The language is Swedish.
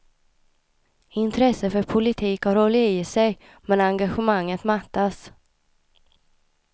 Intresset för politik har hållit i sig, men engagemanget mattats.